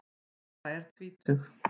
Sara er tvítug.